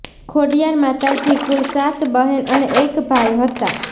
ખોડીયાર માતાજી કુલ સાત બહેન અને એક ભાઈ હતાં